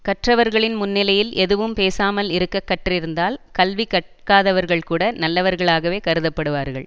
கற்றவர்களின் முன்னிலையில் எதுவும் பேசாமல் இருக்க கற்றிருந்தால் கல்வி கற்காதவர்கள்கூட நல்லவர்களாகவே கருதப்படுவார்கள்